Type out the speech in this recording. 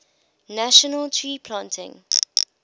national tree planting